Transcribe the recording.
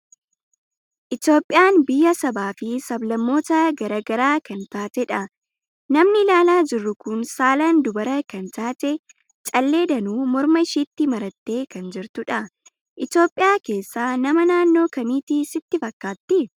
Itoophiyaan biyya sabaa fi sab-lammoota garaa garaa kan taatedha. Namni ilaalu jirru kun saalaan dubara kan taate, callee danuu morma ishiitti marattee kan jirtudha. Itoophiyaa keessaa nama naannoo kamiiti sitti fakkaatti?